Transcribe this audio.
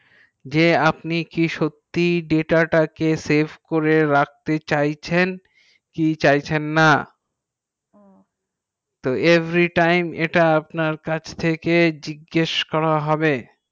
যে আপনি কি সত্যি delta তাকে save করে রাখতে চাইছেন কি চাইছেন না তো every time এটা আপনার কাছ থেকে জিজ্ঞেস করা হবে